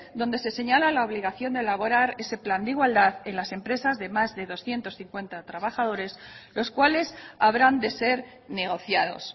donde se señala la obligación de elaborar ese plan de igualdad en las empresas de más de doscientos cincuenta trabajadores los cuales habrán de ser negociados